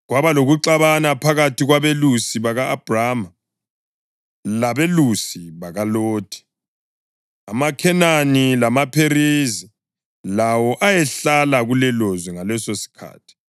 Kwaba lokuxabana phakathi kwabelusi baka-Abhrama labelusi bakaLothi. AmaKhenani lamaPherizi lawo ayehlala kulelolizwe ngalesosikhathi.